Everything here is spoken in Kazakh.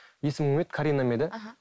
есімің кім еді карина ма еді аха